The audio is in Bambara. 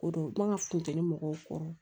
Ko don n ka funteni mɔgɔw kɔrɔ